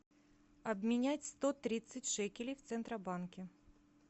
обменять сто тридцать шекелей в центробанке